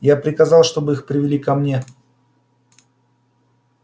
я приказал чтобы их привели ко мне